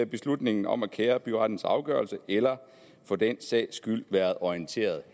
beslutningen om at kære byrettens afgørelse eller for den sags skyld været orienteret